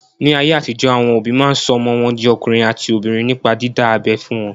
Ní ayé àtijọ́, àwọn òbí máa sọ ọmọ wọn di ọkùnrin àti obìnrin nípa dídá abẹ́ fún wọn.